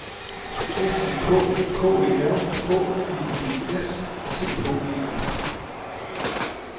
S I K K E R H E D S C H E F